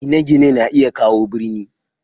Gine-gine na iya kawo birni.